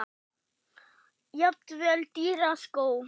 Jafnvel dýra skó?